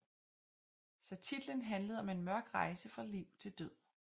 Så titlen handlede om en mørk rejse fra liv til død